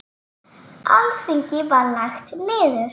Alþingi var lagt niður.